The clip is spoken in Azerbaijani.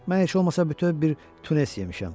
Mən heç olmasa bütöv bir tunnes yemişəm.